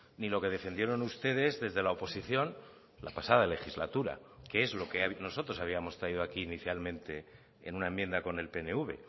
ni lo que defendieron ustedes desde la oposición la pasada legislatura que es lo que nosotros habíamos traído aquí inicialmente en una enmienda con el pnv